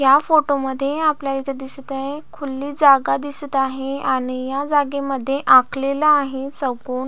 या फोटो मध्ये आपल्याला इथे दिसत आहे खुली जागा दिसत आहे आणि या जागे मध्ये आखलेला आहे चौकोन--